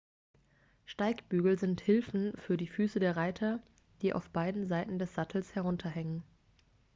steigbügel sind hilfen für die füße der reiter die auf beiden seiten des sattels herunterhängen